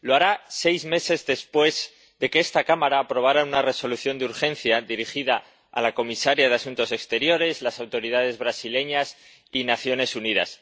Lo hará seis meses después de que esta Cámara aprobara una Resolución de urgencia dirigida a la alta representante para Asuntos Exteriores, las autoridades brasileñas y las Naciones Unidas.